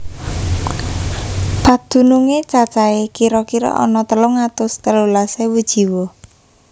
Padunungé cacahé kira kira ana telung atus telulas ewu jiwa